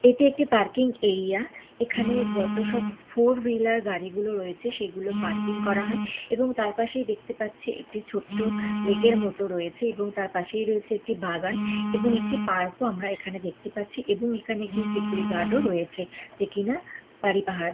এটি একটি parking area এখানে যত সব ফোর হুইলার গাড়ি গুলো রয়েছে সেগুলো পার্কিং করা হয় এবং তার পাশেই দেখতে পাচ্ছি একটি ছোট্ট লেক - র মতো রয়েছে এবং তার পাশের রয়েছে একটি বাগান এবং একটি পার্ক ও আমরা এখানে দেখতে পাচ্ছি এবং এখানে একজন সিকিউরিটি গার্ড ও রয়েছে যে কিনা বাড়ি পাহারা--